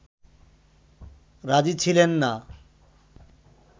রাজি ছিলেন না